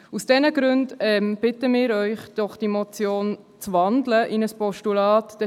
Aus diesen Gründen bitten wir Sie, diese Motion in ein Postulat zu wandeln.